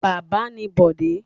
Bábà ni Bọ̀dé.